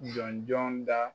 Jɔn jɔn da